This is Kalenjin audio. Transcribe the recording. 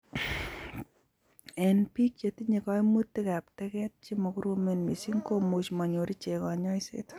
Eng' biik chetinye kaimutikab teget chemakoromen mising komuchi manyor ichek kanyoiset